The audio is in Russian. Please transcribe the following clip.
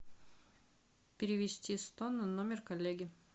перевести сто на номер коллеги